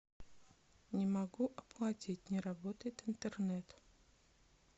не могу оплатить не работает интернет